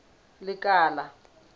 lekala